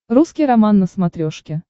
русский роман на смотрешке